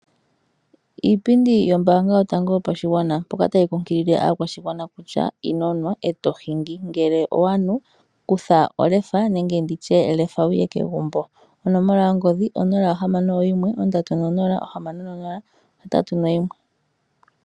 Iipindi yombaanga yopashigwana otayi kunkilile aakwashigwana kutya ino nwa eto hingi, ngele owanu kutha olefa nenge lefa wuye kegumbo. Onomola yongodhi 061306081.